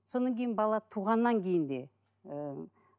сонан кейін бала туғаннан кейін де ііі